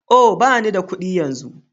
Oh! ɓani da kuɗi yanzu.